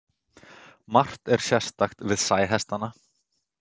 Margt er sérstakt við sæhestana.